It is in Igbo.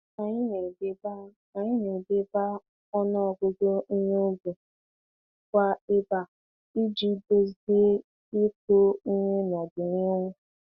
Anyị na-edeba Anyị na-edeba ọnụ ọgụgụ ihe ubi kwa ébà iji duzie ịkụ ihe n'ọdịnihu.